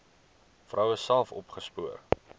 vroue self opgespoor